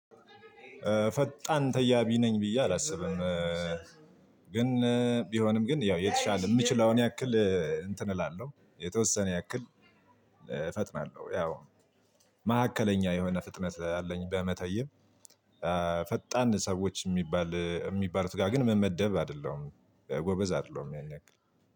ፈጣን ተያቢ ነኝ ብዬ አላስብም። ግን ቢሆንም ግን ያው የተሻለ የምችለውን አክል እንትን እላለሁ የተወሰነ አክል እፈጥናለሁ። ያው ማዕከለኛ የሆነ ፍጥነት አለኝ በመተየብ። ፈጣን ሰዎች ሚባል ሚባሉት ጋር ግን ምመደብ አይደለሁም ጎበዝ አይደለሁም ያን አክል።